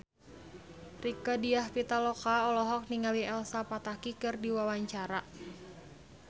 Rieke Diah Pitaloka olohok ningali Elsa Pataky keur diwawancara